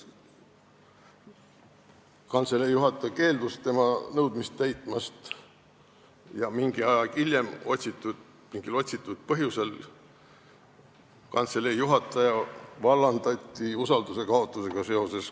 Kantselei juhataja keeldus tema nõudmist täitmast ja mingi aeg hiljem kantselei juhataja mingil otsitud põhjusel vallandati usalduse kaotusega seoses.